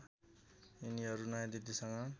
यिनीहरू नयाँ दिल्लीसँग